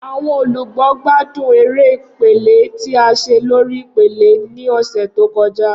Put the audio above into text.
Awọn olugbo gbadun ere ipele ti a ṣe lori ipele ni ọsẹ to kọja.